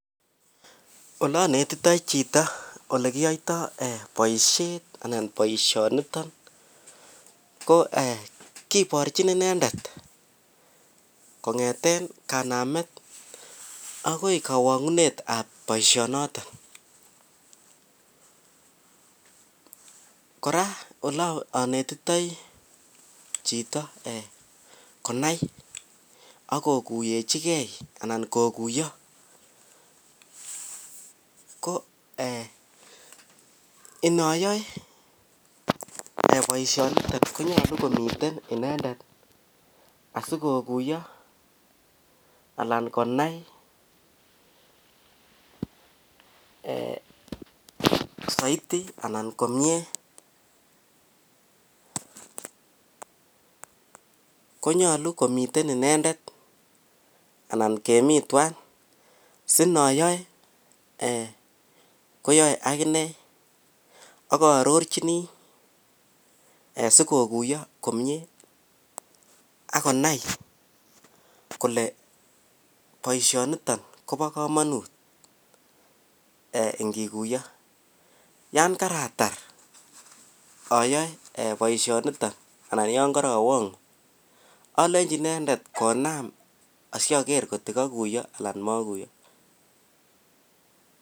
Olanetitei chito olekiyoitoi boisyoni ko kiborjin inendet kongete kanamet akoi kawangunet ab boisyonoton kora olanetitei chito konai ako kuyo ko eeh inayoei boisyonoton konyolu komi inendet sikukuyo anan konai inendet eeh saiti anan komye konyolu komitei inendet anan kemin twai singayoue kwaei akina aka arorjini ee sikukuyo komye akonai kole boisyoni kobo kamanut kikuyo ak yakatar ayaoe alechi inendet konam aro ngokekuyo anan maikuyo